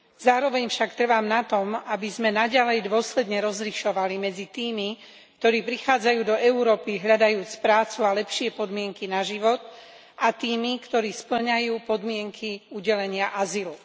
Zároveň však trvám na tom, aby sme naďalej dôsledne rozlišovali medzi tými, ktorí prichádzajú do Európy hľadajúc prácu a lepšie podmienky na život, a tými, ktorí spĺňajú podmienky udelenia azylu.